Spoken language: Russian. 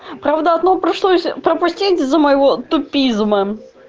правда одно пришлось пропустить из-за моего тупизма